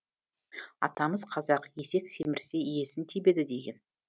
атамыз қазақ есек семірсе иесін тебеді деген